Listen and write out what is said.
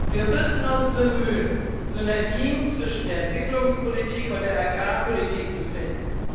Wir müssen uns bemühen, Synergien zwischen der Entwicklungspolitik und der Agrarpolitik zu finden.